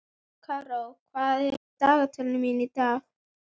Karó, hvað er á dagatalinu mínu í dag?